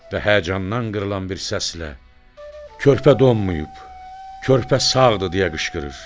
Və həyəcandan qırılan bir səslə: "Körpə donmayıb, körpə sağdır" deyə qışqırır.